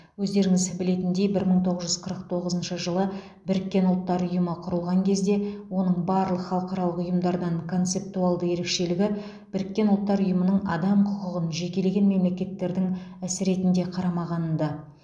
өздеріңіз білетіндей бір мың тоғыз жүз қырық тоғызыншы жылы біріккен ұлттар ұйымы құрылған кезде оның барлық халықаралық ұйымдардан концептуалды ерекшелігі біріккен ұлттар ұйымының адам құқығын жекелеген мемлекеттердің ісі ретінде қарамағанында